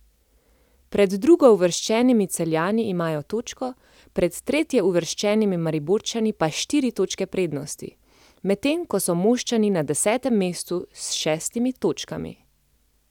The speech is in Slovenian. Pred drugouvrščenimi Celjani imajo točko, pred tretjeuvrščenimi Mariborčani pa štiri točke prednosti, medtem ko so Moščani na desetem mestu s šestimi točkami.